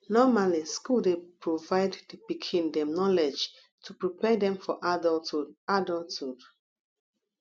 normally school dey provide di pikim dem knowledge to prepare dem for adulthhood adulthhood